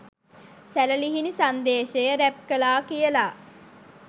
සැළලිහිණි Sandeshaya rap කළා කියල